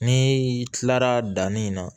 Ni kilara danni na